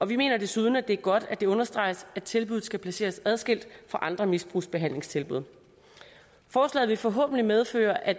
vi mener desuden at det er godt at det understreges at tilbuddet skal placeres adskilt fra andre misbrugsbehandlingstilbud forslaget vil forhåbentlig medføre at